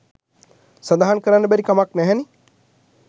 සඳහන් කරන්න බැරි කමක් නැහැනෙ